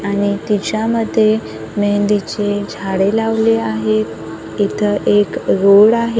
आणि त्याज्यामध्ये मेहंदीचे झाडे लावली आहेत इथं एक रोड आहे.